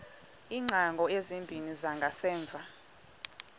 iingcango ezimbini zangasemva